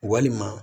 Walima